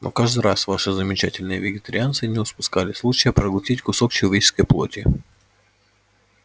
но каждый раз ваши замечательные вегетарианцы не упускали случая проглотить кусок человеческой плоти